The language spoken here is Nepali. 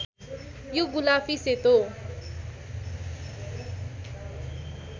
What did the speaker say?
यो गुलाफी सेतो